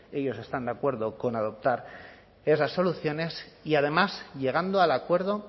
ellos están de acuerdo con adoptar esas soluciones y además llegando al acuerdo